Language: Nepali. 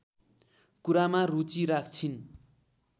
कुरामा रुचि राख्छिन्